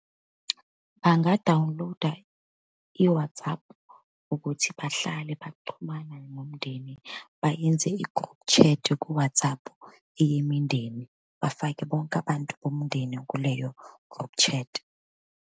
Bangadawuniloda i-WhatsApp ukuthi bahlale baxhumana nomndeni, bayenze i-group chat ku-WhatsApp eyemindeni, bafake bonke abantu bomndeni kuleyo group chat.